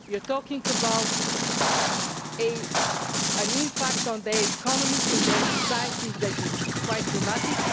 we are talking about an impact on their economies and their societies that is quite dramatic.